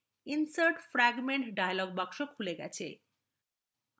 insert fragment dialog box খুলে গেছে